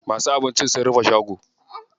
Masu abincin sun rufe shago.